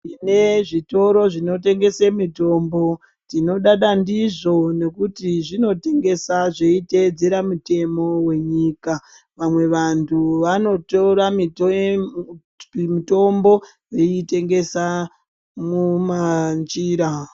Tine zvitoro zvinotengese mitombo. Tinodada ndizvo nekuti zvinotengesa zveiteedzera mitemo wenyika. Vamwe vantu vanotora miteemb mutombo veiitengesa mumanjira.